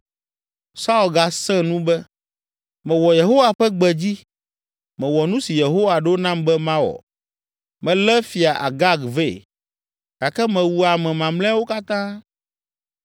Saul gasẽ nu be, “Mewɔ Yehowa ƒe gbe dzi, mewɔ nu si Yehowa ɖo nam be mawɔ, melé Fia Agag vɛ, gake mewu ame mamlɛawo katã.